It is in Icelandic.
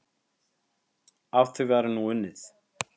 Að því væri nú unnið.